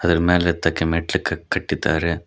ಅದರ ಮೇಲೆ ಹತ್ತಕ್ಕೆ ಮೆಟ್ಟಿಲು ಕಟ್ಟಿದ್ದಾರೆ.